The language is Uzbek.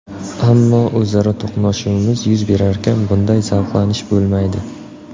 Ammo o‘zaro to‘qnashuvimiz yuz berarkan - bunday zavqlanish bo‘lmaydi”.